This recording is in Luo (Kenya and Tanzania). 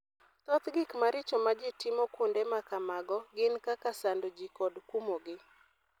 Thoth gik maricho ma ji timo kuonde ma kamago gin kaka sando ji kod kumogi.